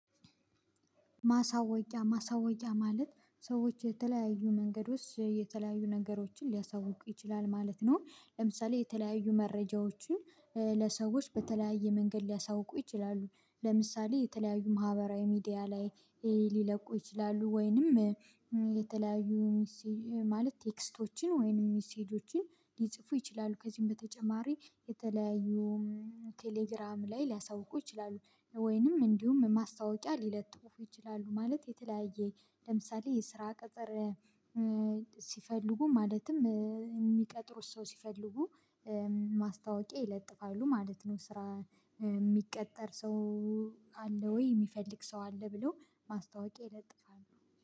ማሳወቂያ ማለት ሰዎች የተለያዩ መንገዶች የተለያዩ ነገሮችን ሊያሳውቁ ይችላል ማለት ነው። ለምሳሌ የተለያዩ መረጃዎችን ለሰዎች በተለያየ መንገድ ሊያሳውቁ ይችላሉ ለምሳሌ የተለያዩ ማህበራዊ ሚዲያ ላይ ሊለቁ ይችላሉ። ወይንም ሚሴጅ ማለት ቴክስቶችን ወይንም ሚሴጆችን ሊጽፉ ይችላሉ። ከዚህም በተጨማሪ የተለያዩ ቴሌግራም ላይ ሊያሳውቁ ይችላሉ ወይንም እንዲሁም ማስታወቂያ ሊለጥፉ ይችላሉ። ማለት የተለያየ ለምሳሌ የስራ ቀጥር ሲፈልጉ ማለትም የሚቀጥሩት ሰው ሲፈልጉ ማስታወቂያ ይለጥፋሉ ማለት ነው። ስራ የሚቀጠር ሰው አለ ወይ የሚፈልግ ሰው አለ ብለው ማስታወቂያ ይለጥፋሉ